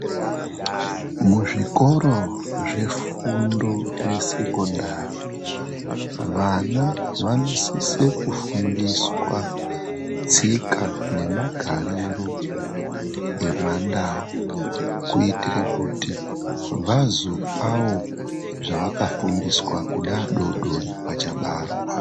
Muzvikoro zvefundo yesekondari, vana vanosise kufundiswa tsika nemagariro emandau kuitira kuti vazopawo zvavakafundiswa kune adodori vachabarwa.